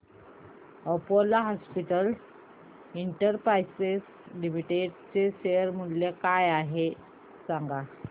Apollo Hospitals Enterprise Limited चे share मूल्य काय आहे सांगा